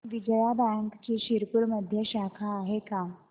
विजया बँकची शिरपूरमध्ये शाखा आहे का